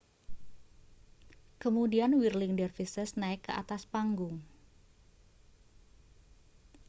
kemudian whirling dervishes naik ke atas panggung